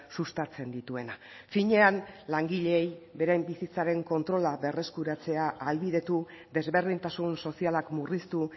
sustatzen dituena finean langileei beraien bizitzaren kontrola berreskuratzea ahalbidetu desberdintasun sozialak murriztu